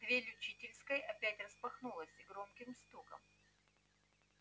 дверь учительской опять распахнулась с громким стуком